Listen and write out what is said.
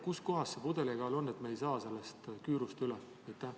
Kus kohas see pudelikael on, et me ei saa sellest küürust üle?